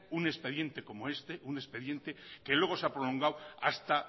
un expediente como este un expediente que luego se ha prolongado hasta